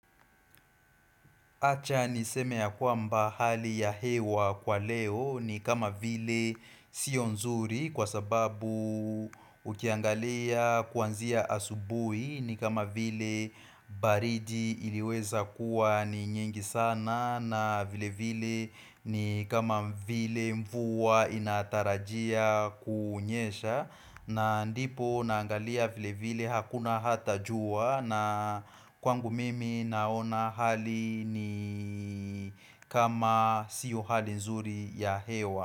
Acha niseme ya kwamba hali ya hewa kwa leo ni kama vile sio nzuri kwa sababu ukiangalia kuanzia asubui ni kama vile baridi iliweza kuwa ni nyingi sana na vile vile ni kama vile mvua inatarajia kunyesha na ndipo naangalia vile vile hakuna hata juwa na kwangu mimi naona hali ni kama siyo hali nzuri ya hewa.